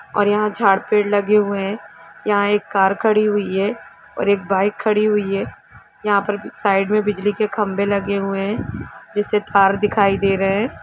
और यहां झाड़ पेड़ लगे हुए है यहां एक कार खड़ी हुई हैऔर एक बाइक खड़ी हुई है यहां पर भी साइड में बिजली के खंभे लगे हुए हैं जिसे तार दिखाई दे रहे है।